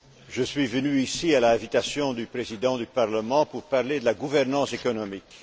Je suis venu ici à l'invitation du Président du Parlement pour parler de la gouvernance économique.